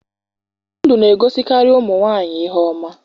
Ndụ na egosikari ụmụ nwanyị ihe ọma